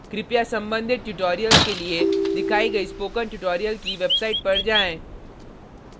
कृपया संबंधित ट्यूटोरियल के लिए दिखाई गई स्पोकन ट्यूटोरियल की वेबसाइट पर जाएँ